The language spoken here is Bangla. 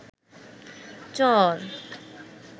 চর